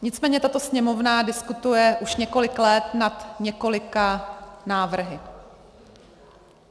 Nicméně tato Sněmovna diskutuje už několik let nad několika návrhy.